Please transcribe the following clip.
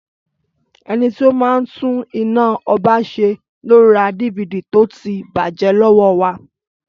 Ẹnití ó máa ń tún iná ọba ṣe lo ra DVD tọ ti bàjé lọ́wọ́ wa